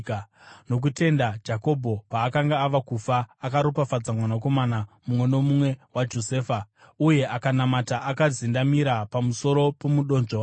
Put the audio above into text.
Nokutenda Jakobho, paakanga ava kufa akaropafadza mwanakomana mumwe nomumwe waJosefa, uye akanamata akazendamira pamusoro pomudonzvo wake.